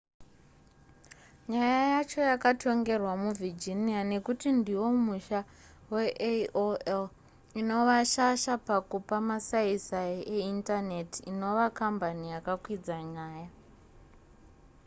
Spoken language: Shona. nyaya yacho yakatongerwa muvirginia nekuti ndiwo musha veaol inova shasha pakupa masaisai eindaneti inova kambani yakakwidza nyaya